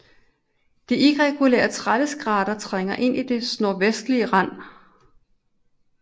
Det irregulære Tralleskrater trænger ind i dets nordvestlige rand